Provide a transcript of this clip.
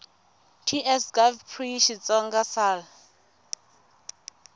ts gov pri xitsonga sal